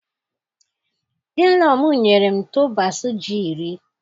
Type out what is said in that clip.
Inlaw m nyere m tubers ji iri.